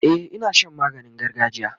e Ina Shan maganin gargajiya